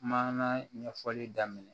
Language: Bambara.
Maana ɲɛfɔli daminɛ